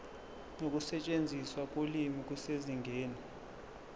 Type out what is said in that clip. nokusetshenziswa kolimi kusezingeni